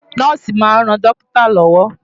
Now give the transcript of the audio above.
Nọ́ọ̀sì máa ń ran dókítà lọ́wọ́.